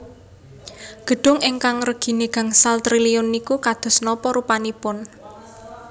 Gedung ingkang regine gangsal triliun niku kados napa rupanipun